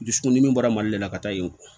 Dusukundimi bɔra mali de la ka taa yen